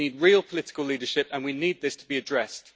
We need real political leadership and we need this to be addressed.